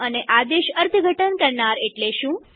અને આદેશ અર્થઘટન કરનાર એટલે શું